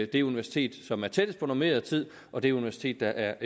det universitet som er tættest på normeret tid og det universitet der